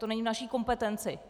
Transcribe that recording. To není v naší kompetenci.